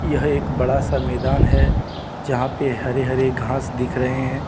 यह एक बड़ा सा मैदान है जहां पे हरे हरे घास दिख रहे हैं।